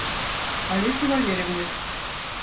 олесе валерьевне